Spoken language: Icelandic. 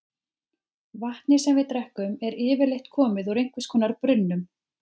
Vatnið sem við drekkum er yfirleitt komið úr einhvers konar brunnum.